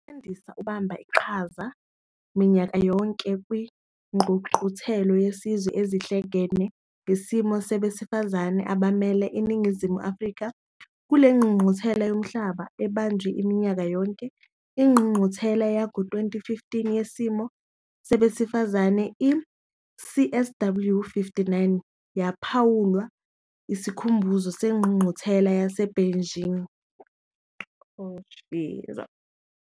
UMandisa ubamba iqhaza minyaka yonke kwiNgqungquthela Yezizwe Ezihlangene Yesimo Sabesifazane abamele iNingizimu Afrika kule ngqungquthela yomhlaba ebanjwa minyaka yonke. Ingqungquthela yango-2015 Yesimo Sabesifazane i-CSW59 yaphawula isikhumbuzo seNgqungquthela yaseBeijing.